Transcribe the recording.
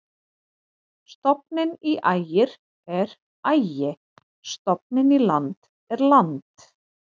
Stofninn í Ægir er Ægi-, stofninn í land er land.